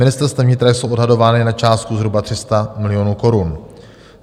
Ministerstvem vnitra jsou odhadovány na částku zhruba 300 milionů korun.